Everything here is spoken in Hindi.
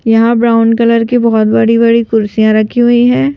यहां ब्राउन कलर की बहुत बड़ी-बड़ी कुर्सियां रखी हुई हैं।